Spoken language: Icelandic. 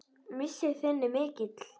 Missir þinn er mikill.